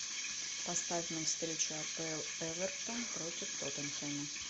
поставь нам встречу апл эвертон против тоттенхэма